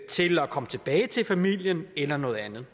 til at komme tilbage til familien eller noget andet